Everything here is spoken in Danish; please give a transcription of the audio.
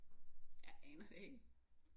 Jeg aner det ikke